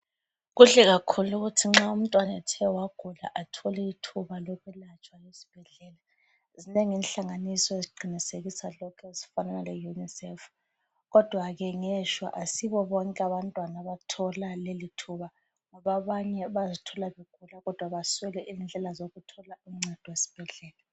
Kuhle kakhulu ukuthi nxa umntwana ethe wagula athole ithuba lokwelatshwa esibhedlela. Zinengi inhlanganiso eziqinisekisa lokho ezifana leUnicef. Kodwa ke ngeshwa asibobonke abantwana abathola lelithuba, abanye bayazithola begula kodwa baswele indlela zokuthola uncedo esibhedlela.